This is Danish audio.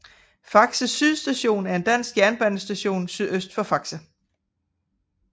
Faxe Syd Station er en dansk jernbanestation sydøst for Faxe